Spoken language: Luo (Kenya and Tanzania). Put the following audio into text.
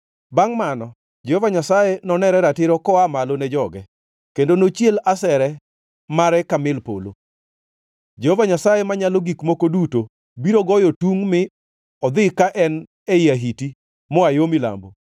Bangʼ mano Jehova Nyasaye nonere ratiro koa malo ne joge kendo nochiel asere mare ka mil polo. Jehova Nyasaye Manyalo Gik Moko Duto biro goyo tungʼ mi odhi ka en ei ahiti moa yo milambo,